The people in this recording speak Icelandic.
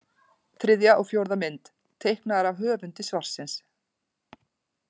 Þriðja og fjórða mynd: Teiknaðar af höfundi svarsins.